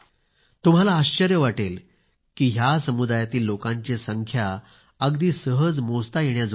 तुम्हाला आश्चर्य वाटेल कि ह्या समुदायातील लोकांची संख्या अगदी मोजता येण्याजोगी आहे